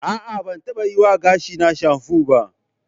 A'a, ban taɓa yiwa gashina shanfo ba.